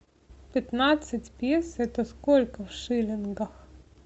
пятнадцать песо это сколько в шиллингах